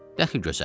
Dəxi gözəl.